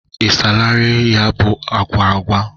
Ị salarị ya bụ agwụgwa?